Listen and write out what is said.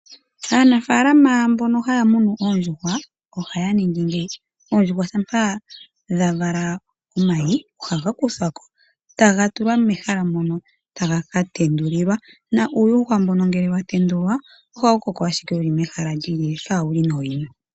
Aanafalama mbono haya munu oondjuhwa ohaya ningi ngeyi oondjuhwa shampa dha vala omayi ohaga kuthako etaga tulwa mehala mono taga katendulilwa naa uuyuhwa mbono ngele watendulwa oha wukoko ashike wuli mehala lyini ka wuli nooyina.